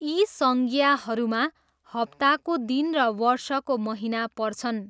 यी संज्ञाहरूमा हप्ताको दिन र वर्षको महिना पर्छन्।